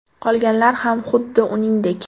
Qolganlar ham xuddi uningdek.